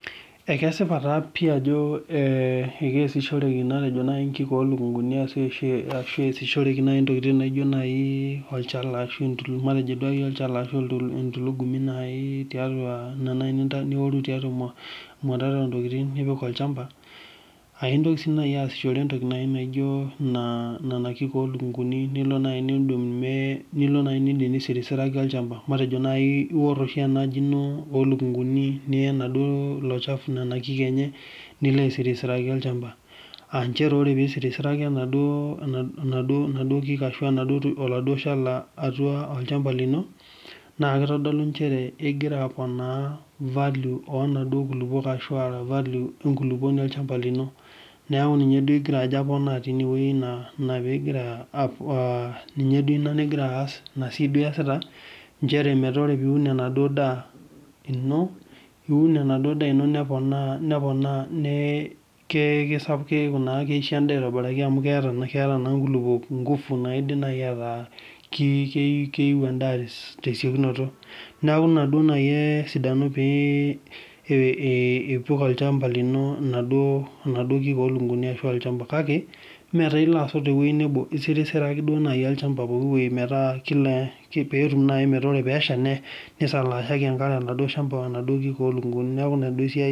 ekesipaa taa pii Ajo kesishoreki oshi enkik olukunguni arashu kesishoreki ntokitin naaji naijio olchala entulugumu ena naaji nioru tiatua emwatata oo ntokitin nipik olchamba aintokii sii naaji asishoree entoki naijio Nena kiik olukunguni nilo naaji nisirisiraki olchamba matejonaijii ewor enaji eno olukunguni Niya enaduo elochafu Nena kiki enye nilo aisirisraki olchamba aa njere tenisirisiraki enaduo kiik arashu enaduo kiik atua olchamba lino naa kitodolu Ajo egira aponaa value oo naaduo kulupuok arashu value enkulupuoni olchamba lino neeku ninye egira Ajo aponaa ena pigira ninye duo ena nigira aas ena siai duo eyasita njere metaa todua piun enaduo daa ino niun enaduo daa eno neponaa neeku keisho endaa aitobiraki amu keeta naa nkulupuok nguvu metaa kindim neeku keyieu endaa tesiokinoto neeku ena naaji esidano pee epik olchamba lino naaduo kiik olukunguni kake mmee elo asot tewueji nebo esirisiraki olchamba pooki wueji petum naaji meeta ore peyie esha nisalashaki enaduo are oladuo shamba naaduo kiik olukunguni neeku ena esiai